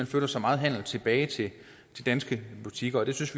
flytter så meget handel tilbage til danske butikker vi synes